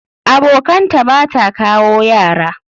Abokanta Bata kawo Yara.